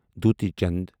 دوتی چند